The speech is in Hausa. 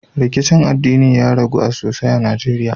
Rikicin addinin ya ragu sosai a najeriya